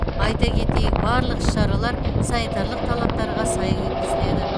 айта кетейік барлық іс шаралар санитарлық талаптарға сай өткізіледі